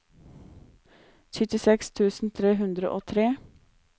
syttiseks tusen tre hundre og tre